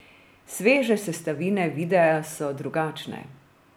Sveže sestavine videa so drugačne.